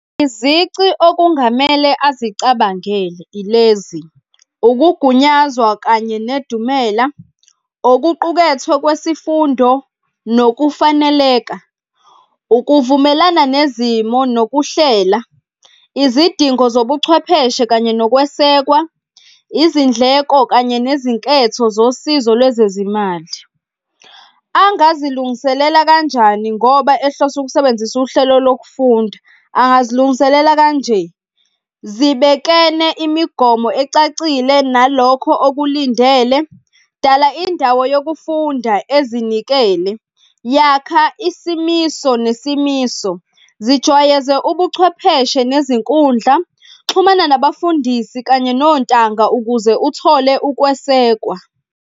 Izici okungamele azicabangele ilezi, ukugunyazwa kanye nedumela, okuqukethwe kwesifundo nokufaneleka, ukuvumelana nezimo nokuhlela izidingo zobuchwepheshe kanye nokwesekwa, izindleko kanye nezinketho zosizo lwezezimali. Angazilungiselela kanjani ngoba ehlose ukusebenzisa uhlelo lokufunda? Angazilungiselela kanje. Zibekene imigomo ecacile nalokho okulindele, dala indawo yokufunda ezinikele. Yakhs isimiso nesimiso, zijwayeze ubuchwepheshe nezinkundla. Xhumana nabafundisi kanye nontanga ukuze uthole ukwesekwa.